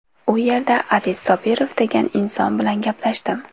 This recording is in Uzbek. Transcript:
U yerda Aziz Sobirov degan inson bilan gaplashdim.